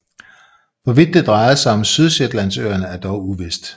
Hvorvidt det drejede sig om Sydshetlandsøerne er dog uvist